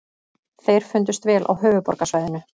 Þeir fundust vel á höfuðborgarsvæðinu